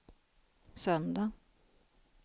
söndag